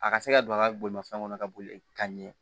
A ka se ka don a ka bolimafɛn kɔnɔ ka boli ka ɲɛ